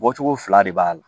Bɔcogo fila de b'a la